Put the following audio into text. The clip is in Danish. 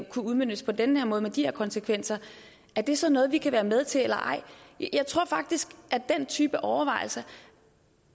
kunne udmøntes på den her måde med de her konsekvenser er det så noget vi kan være med til eller ej jeg tror faktisk at den type overvejelser